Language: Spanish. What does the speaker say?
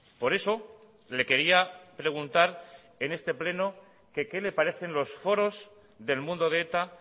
por eso le quería preguntar en este pleno que qué le parecen los foros del mundo de eta